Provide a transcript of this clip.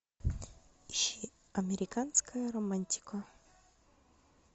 ищи американская романтика